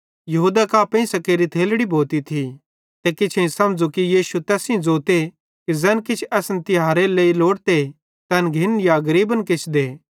यहूदा कां पेइंसां केरी थेलड़ी भोती थी ते किछेईं समझ़ू कि यीशु तैस सेइं ज़ोते कि ज़ैन किछ असन तिहारेरे लेइ लोड़ते तैन घिन्ने या गरीबन किछ दे